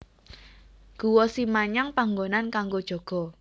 Guwa Simanyang panggonan kanggo jaga